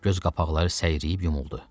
Göz qapaqları səyriyib yumuldu.